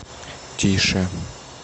тише